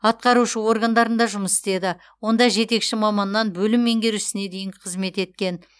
атқарушы органдарында жұмыс істеді онда жетекші маманнан бөлім меңгерушісіне дейін қызмет еткен